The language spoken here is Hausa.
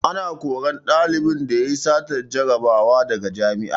Ana korar ɗalibin da yayi satar jarabawa daga jami'a